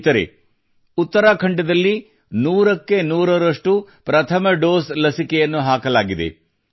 ಸ್ನೇಹಿತರೆ ಉತ್ತರಾಖಂಡದಲ್ಲಿ ನೂರಕ್ಕೆ ನೂರರಷ್ಟು ಪ್ರಥಮ ಡೋಸ್ ಲಸಿಕೆಯನ್ನು ಹಾಕಲಾಗಿದೆ